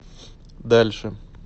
дальше